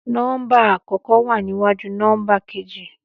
Nọ́mbà àkọ́kọ́ wa níwájú nọ́mbà keji